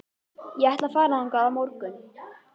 Ég ætla að fara þangað á morgun.